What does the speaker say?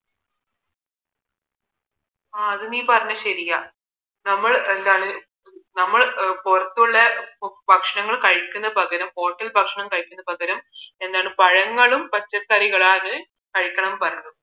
ആ അത് നീ പറഞ്ഞത് ശരിയാ നമ്മൾ എന്താണ് നമ്മൾ പുറത്തുള്ള ഭക്ഷണം കഴിക്കുന്നത് പകരം hotel ഭക്ഷണം കഴിക്കുന്നത് പകരം എന്താണ് പഴങ്ങളും പച്ചക്കറികളാണ് കഴിക്കണം പറയുന്നത്